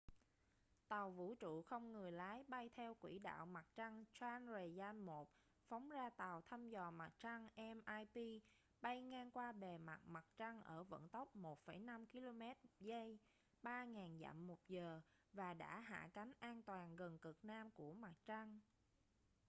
tàu vũ trụ không người lái bay theo quỹ đạo mặt trăng chandrayaan-1 phóng ra tàu thăm dò mặt trăng mip bay ngang qua bề mặt mặt trăng ở vận tốc 1,5 km/giây 3000 dặm/giờ và đã hạ cánh an toàn gần cực nam của mặt trăng